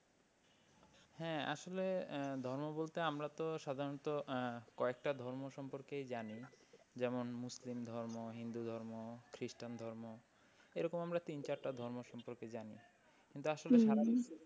হ্যাঁ আসলে ধর্ম বলতে আমরা তো সাধারণত আহ কয়েকটা ধর্ম সম্পর্কেই জানি। যেমন মুসলিম ধর্ম, হিন্দু ধর্ম, খ্রিস্টান ধর্ম এরকম আমরা তিন চারটে ধর্ম সম্পর্কে জানি। কিন্তু আসলে সারা বিশ্বে,